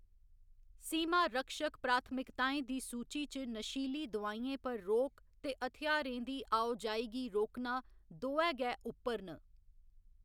सीमा रक्षक प्राथमिकताएं दी सूची च नशीली दोआइयें पर रोक ते हथ्यारें दी आओ जाई गी रोकना दोऐ गै उप्पर न।